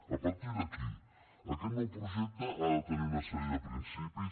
a partir d’aquí aquest nou projecte ha de tenir una sèrie de principis